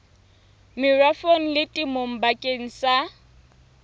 merafong le temong bakeng sa